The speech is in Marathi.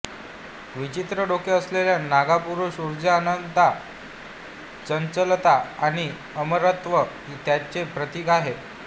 विचित्र डोके असलेला नागा पुरुष उर्जा अनंतता चंचलता आणि अमरत्व यांचे प्रतीक आहे